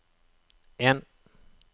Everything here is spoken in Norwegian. en